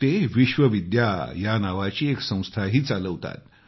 ते विश्वविद्या नावाची एक संस्थाही चालवतात